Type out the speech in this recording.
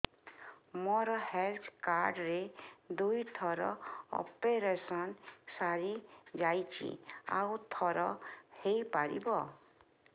ମୋର health card ରେ ଦୁଇ ଥର ଅପେରସନ ସାରି ଯାଇଛି ଆଉ ଥର ହେଇପାରିବ